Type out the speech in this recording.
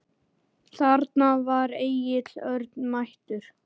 Þarna var Egill Örn mættur.